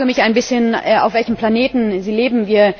Ich frage mich ein bisschen, auf welchem Planeten Sie leben.